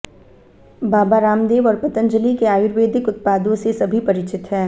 बाबा रामदेव और पतंजलि के आयुर्वेदिक उत्पादों से सभी परिचित हैं